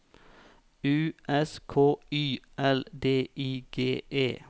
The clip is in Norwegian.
U S K Y L D I G E